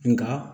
Nga